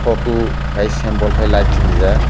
photo kai ke symbol kai ke light sinrijak.